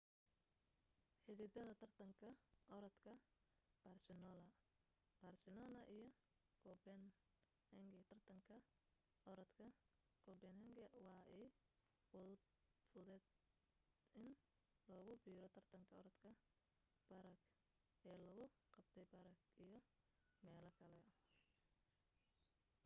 xididada tartanka oradka barcelona barcelona iyo copenhagen tartanka oradka copenhagen waa ay fududeet in lagu biro tartanka oradka prague ee lagu qabtay prague iyo meelo kale